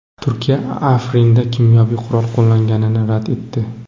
Turkiya Afrinda kimyoviy qurol qo‘llanilganini rad etdi.